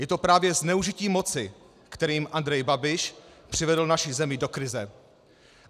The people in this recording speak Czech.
Je to právě zneužití moci, kterým Andrej Babiš přivedl naši zemi do krize.